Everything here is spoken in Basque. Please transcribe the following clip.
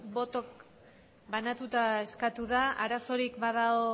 botoa banatuta eskatu da arazorik badago